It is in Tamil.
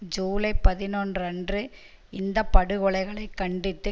ஜூலை பதினொன்று அன்று இந்த படுகொலைகளைக் கண்டித்து